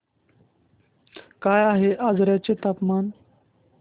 काय आहे आजर्याचे तापमान